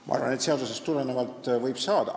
Ma arvan, et seadusest tulenevalt võib saada.